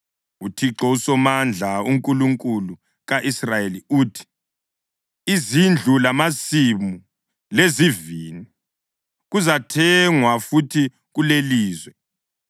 UThixo uSomandla uNkulunkulu ka-Israyeli uthi: Izindlu lamasimu lezivini kuzathengwa futhi kulelilizwe.’